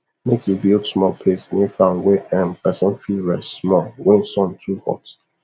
make u build small place near farm wey um person fit rest small wen sun too hot